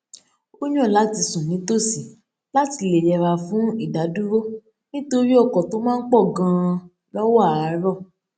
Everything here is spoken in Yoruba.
ó yàn láti sùn nítòsí láti lè yẹra fún idadúró nítorí ọkò tó máa ń pò ganan lówó àárò